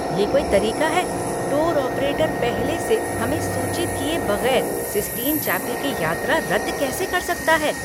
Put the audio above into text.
ये कोई तरीका है! टूर ऑपरेटर पहले से हमें सूचित किए बगैर सिस्टिन चैपल की यात्रा रद्द कैसे कर सकता है?